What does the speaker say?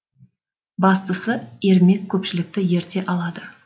бастысы ермек көпшілікті ерте алды